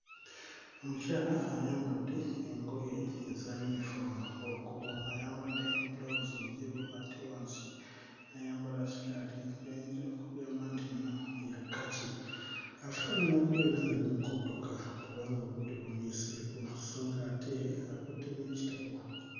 Omukyala ayambadde engoye eza yunifoomu waggulu ayambadde bbulawuzi njeru ate wansi n'ayambala ssikaati y'oyinza okugamba nti nno ya kkaci afaanana okubeera ng'ali mu kudduka kubanga obudde bumuyiseeko so ng'ate akutte n'ekitabo.